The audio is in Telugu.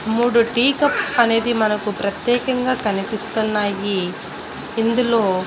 మూడు టీ కప్స్ అనేది మనకు ప్రత్యేకంగా కనిపిస్తున్నాయి ఇందులో.